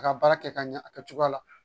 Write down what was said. A ka baara kɛ ka ɲɛ a kɛcogo la